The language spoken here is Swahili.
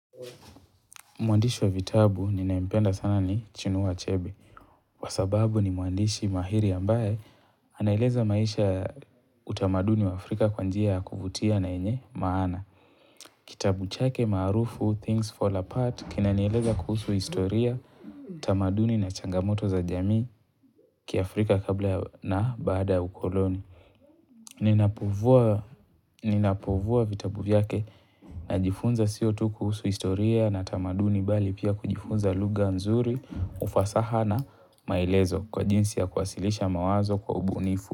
Mwandishi wa vitabu ninayempenda sana ni chinua achebe. Kwa sababu ni mwandishi mahiri ambaye anaeleza maisha ya utamaduni wa Afrika kwa njia ya kuvutia na yenye maana. Kitabu chake marufu Things Fall Apart kina nieleza kuhusu historia, tamaduni na changamoto za jamii kiafrika kabla na baada ya ukoloni. Ninapovua vitabu vyake na jifunza sio tu kuhusu historia na tamaduni bali pia kujifunza luga nzuri, ufasaha na maelezo kwa jinsi ya kuwasilisha mawazo kwa ubunifu.